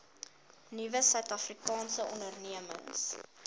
nuwe suidafrikaanse ondernemings